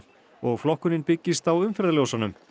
og flokkunin byggist á umferðarljósunum